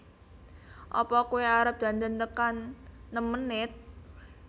Apa koe arep dandan tekan nem menit?